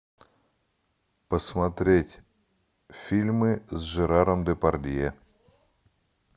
посмотреть фильмы с жераром депардье